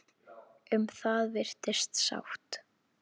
Um það virðist sátt.